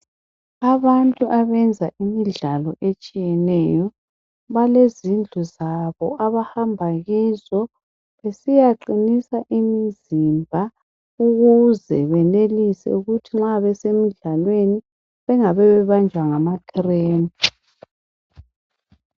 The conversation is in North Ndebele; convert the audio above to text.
Abantu abenza imidlalo etshiyeneyo balezindlu zabo abahamba kizo besiyaqinisa imizimba ukuze benelise ukuthi nxa besemidlalweni bangabe bebanjwa yinkantsho.